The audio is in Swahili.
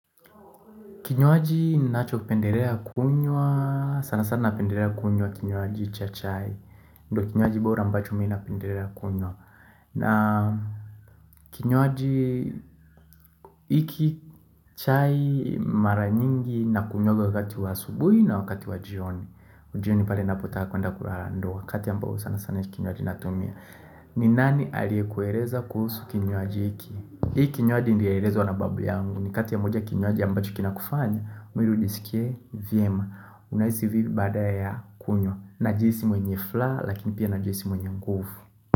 Kinywaji ninacho pendelea kunywa, sana sana napendelea kunywa kinywaji cha chai. Ndo kinywaji bora ambacho mimi napendelea kunywa. Na kinywaji hiki, chai Mara nyingi nakunywaga wakati wa asubuhi na wakati wa jioni. Jioni pale ninapotaka kuenda kulala ndo wakati ambao sana sana hiki kinywaji natumia. Ni nani aliyekuekeza kuhusu kinywaji hiki. Hii kinywaji nilielezwa na babu yangu. Ni kati ya moja kinywaji ambacho kinakufanya mwili ujisikie vyema Unaisi vioi baada ya kunywa najihisi mwenye furaha lakini pia najihisi mwenye nguvu.